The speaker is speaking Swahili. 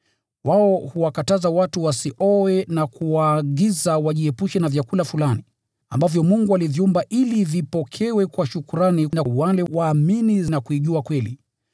Wao huwakataza watu wasioe na kuwaagiza wajiepushe na vyakula fulani, ambavyo Mungu aliviumba ili vipokewe kwa shukrani na wale wanaoamini na kuijua kweli.